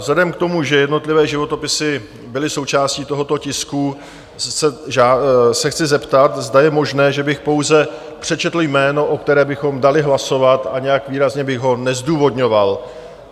Vzhledem k tomu, že jednotlivé životopisy byly součástí tohoto tisku, se chci zeptat, zda je možné, že bych pouze přečetl jméno, o kterém bychom dali hlasovat, a nějak výrazně bych ho nezdůvodňoval.